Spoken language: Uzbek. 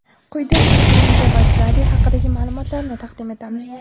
Quyida Nesrin Javadzade haqidagi ma’lumotlarni taqdim etamiz.